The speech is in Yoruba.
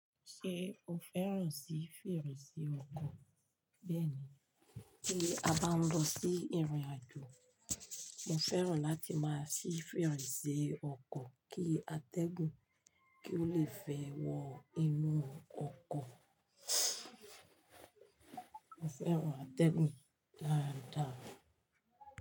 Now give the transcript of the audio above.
Ṣé o fẹ́ràn sí fèrèsé ọkọ̀? Bẹ́ẹ̀ni, kí a bá ń lọ sí ìrìnàjò, mo fẹ́ràn láti máa ṣí fèrèsé ọkọ̀ kí atẹ́gùn kí ó le fẹ́ wọ inú ọkọ̀. Mo fẹ́ràn atẹ́gùn dáadáa.